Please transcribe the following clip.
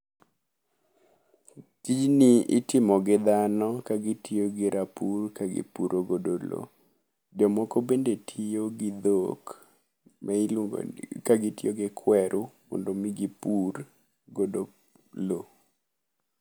Tijni itimo gi dhano ka gitiyo gi rapur ka gipuro godo lowo. Jomoko bende tiyo gi dhok miluongo ni ka gitiyo gi kweru mondo mi gipur godo lowo.